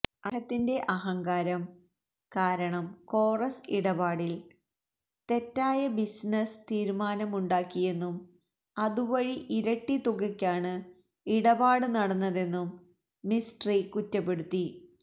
അദ്ദേഹത്തിന്റെ അഹങ്കാരം കാരണം കോറസ് ഇടപാടിൽ തെറ്റായ ബിസിനസ് തീരുമാനമുണ്ടാക്കിയെന്നും അതുവഴി ഇരട്ടി തുകക്കാണ് ഇടപാട് നടന്നതെന്നും മിസ്ട്രി കുറ്റപ്പെടുത്തി